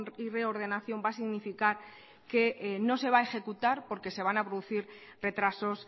y reordenación va a significar que no se va a ejecutar porque se van a producir retrasos